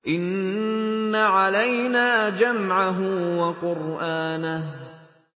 إِنَّ عَلَيْنَا جَمْعَهُ وَقُرْآنَهُ